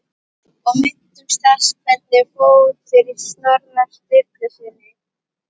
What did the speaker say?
Og minnumst þess hvernig fór fyrir Snorra Sturlusyni!